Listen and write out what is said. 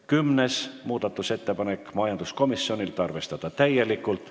Kümnes muudatusettepanek on majanduskomisjonilt, ettepanek: arvestada täielikult.